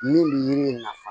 Min bɛ yiri nafa